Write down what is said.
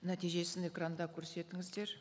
нәтижесін экранда көрсетіңіздер